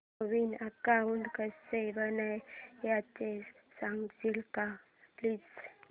नवीन account कसं बनवायचं सांगशील का प्लीज